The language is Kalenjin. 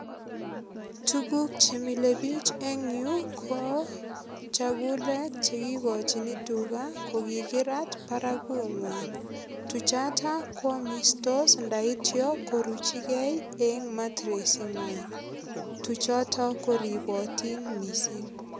Tuguk che milebiich eng yu ko chekula chekikochini tuga kokikirat baragunywai. Tuchota kwamistos ndaityo koruchigei eng matresit ingwai. Tuchoto koripotin mising.